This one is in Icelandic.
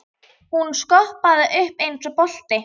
Hún skoppaði um eins og bolti.